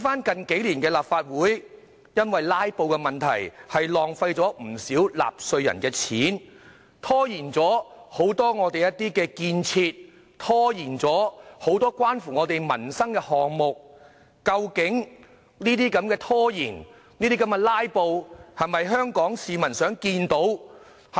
近數年，立法會因為"拉布"而浪費不少納稅人的金錢，拖延很多本港的建設，拖延很多關乎民生的項目，究竟拖延和"拉布"是否香港市民想看到的呢？